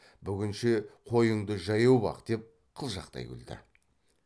бүгінше қойыңды жаяу бақ деп қылжақтай күлді